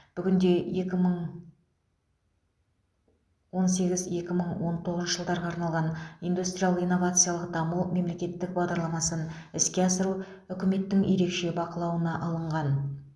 бүгінде екі мың он сегіз екі мың он тоғызыншы жылдарға арналған индустриялық инновациялық даму мемлекеттік бағдарламасын іске асыру үкіметтің ерекше бақылауына алынған